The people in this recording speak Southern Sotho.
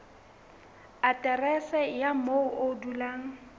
aterese ya moo o dulang